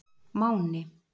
Máni